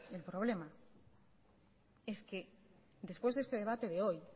el problema es que después de este debate de hoy